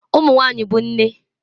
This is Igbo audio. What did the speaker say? Ụmụ nwanyị bụ nne